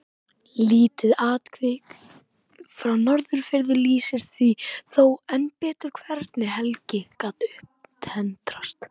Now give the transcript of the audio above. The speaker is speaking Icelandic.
Lítið atvik frá Norðfirði lýsir því þó enn betur hvernig Helgi gat upptendrast.